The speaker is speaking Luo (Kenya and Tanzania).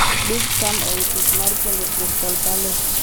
big Sam owe tich mar puojo Crystal Palace.